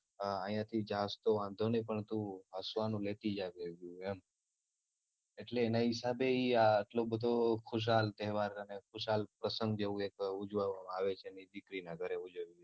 અહિયાંથી જાય છ તો વાંધો નઈ પણ તું હસવાનું લેતી જજે અહીંથી એમ એટલે એનાં હિસાબે ઈ આટલો બધો ખુશાલ તેહવાર અને ખુશાલ પ્રસંગ જેવું એક ઉજવવામાં આવે છે અને ઈ દીકરાના ઘરે ઉજવીએ